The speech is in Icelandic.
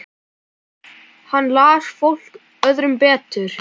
Hann las fólk öðrum betur.